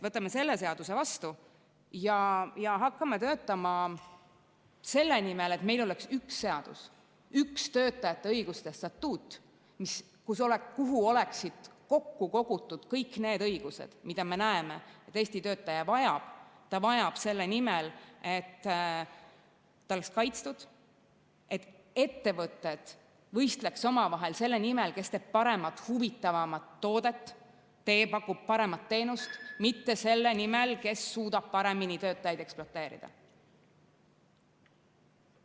Võtame selle seaduse vastu ja hakkame töötama selle nimel, et meil oleks üks seadus, üks töötajate õiguste statuut, kuhu oleksid kokku kogutud kõik need õigused, mida meie arvates Eesti töötaja vajab, mida ta vajab selle nimel, et ta oleks kaitstud, ning et ettevõtted võistleks omavahel selle nimel, kes teeb paremat-huvitavamat toodet ja pakub paremat teenust, mitte selle nimel, kes suudab paremini töötajaid ekspluateerida.